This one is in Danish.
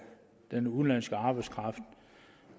den udenlandske arbejdskraft